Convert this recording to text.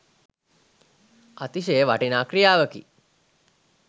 අතිශය වටිනා ක්‍රියාවකි.